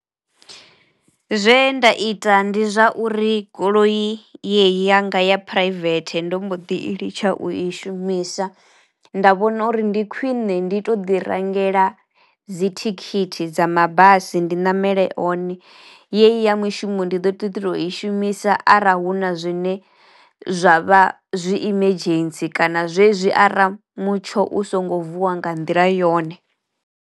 Zwe nda ita ndi zwa uri goloi yeyi yanga ya phuraivethe ndo mbo ḓi i litsha u i shumisa nda vhona uri ndi khwiṋe ndi to ḓi rangela dzithikhithi dza mabasi ndi ṋamele one yeyi ya mishumo ndi ḓo ḓi to i shumisa ara hu na zwine zwa vha zwi emergency kana zwezwi ara mutsho u songo vuwa nga nḓila yone.